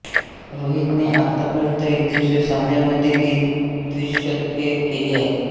रोहितने आत्तापर्यंत एकदिवसीय सामन्यांमध्ये तीन द्विशतके केली आहेत